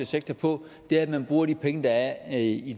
sektor på det er at man bruger de penge der er i